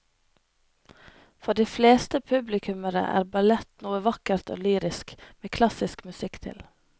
For de fleste publikummere er ballett noe vakkert og lyrisk med klassisk musikk til.